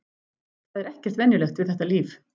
Það er ekkert venjulegt við þetta líf.